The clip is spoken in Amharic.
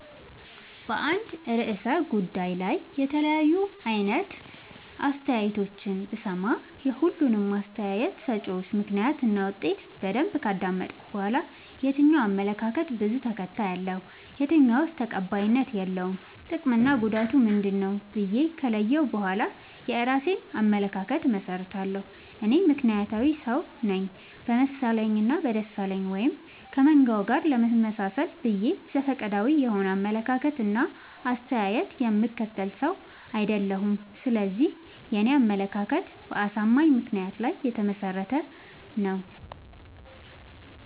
በአንድ እርሰ ጉዳይ ላይ የተለያዩ አይነት አስተያየቶችን ብሰማ። የሁሉንም አስታየት ሰጭወች ምክንያት እና ውጤት በደንብ ካዳመጥኩ በኋላ። የትኛው አመለካከት በዙ ተከታይ አለው። የትኛውስ ተቀባይነት የለውም ጥቅምና ጉዳቱ ምንድ ነው ብዬ ከለየሁ በኋላ የእራሴን አመለካከት አመሠርታለሁ። እኔ ምክንያታዊ ሰውነኝ በመሰለኝ እና በደሳለኝ ወይም ከመንጋው ጋር ለመመጣሰል ብዬ ዘፈቀዳዊ የሆነ አመለካከት እና አስተያየት የምከተል ሰው። አይደለሁም ስለዚህ የኔ አመለካከት በአሳማኝ ምክንያት ላይ የተመሰረተ ነው።